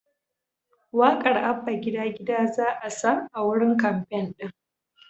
Waƙar “Abba Gida Gida" za'a sa a wurin kamfen ɗin.